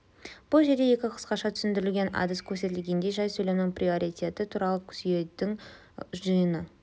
бұл жерде екі қысқаша түсіндірілген әдіс көрсетілген жай сөйлемнің приоритеті туралы сүйеудің жиыны